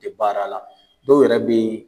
Tɛ baara la dɔw yɛrɛ bɛ yen